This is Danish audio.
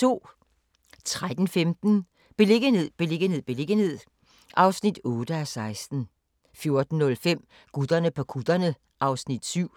13:15: Beliggenhed, beliggenhed, beliggenhed (8:16) 14:05: Gutterne på kutterne (Afs. 7)